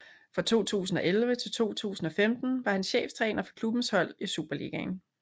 Fra 2011 til 2015 var han cheftræner for klubbens hold i Superligaen